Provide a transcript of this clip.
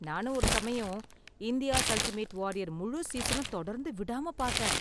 நானும் ஒரு சமயம் 'இந்தியா'ஸ் அல்டிமேட் வாரியர்' முழு சீஸனும் தொடர்ந்து விடாம பார்த்தேன்.